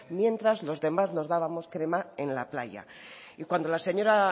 mientras los demás nos dábamos crema en la playa y cuando la señora